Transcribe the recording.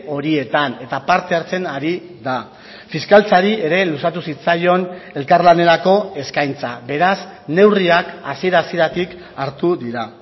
horietan eta parte hartzen ari da fiskaltzari ere luzatu zitzaion elkarlanerako eskaintza beraz neurriak hasiera hasieratik hartu dira